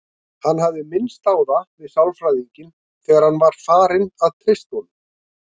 Hann hafði minnst á það við sálfræðinginn þegar hann var farinn að treysta honum.